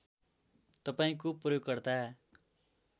तपाईँको प्रयोगकर्ता